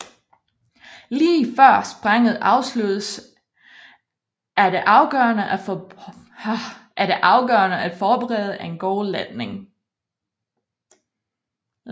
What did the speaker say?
Lige før springet afsluttes er det afgørende at forberede en god landing